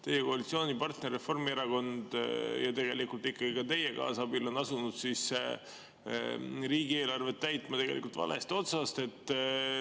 Teie koalitsioonipartner Reformierakond – ja ikkagi teie kaasabil – on asunud riigieelarvet täitma valest otsast.